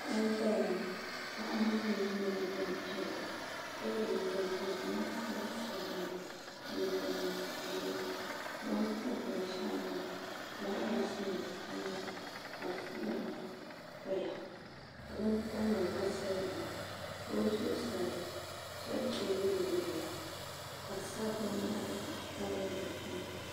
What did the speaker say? Paɣa n ʒɛya ŋo paɣa maa mii nyɛla gbanpiɛll ka yɛ liiga ka di niŋ ka zaɣ sabinli la jinjɛm ʒiɛ o ni tabi binshaɣu maa fulaawaasi nim tamya ka foon paya ka bin tamya ka silba la ka o zuɣusaa chɛriti yiliyili ya ka bi sabi binyahari tabili dikpuni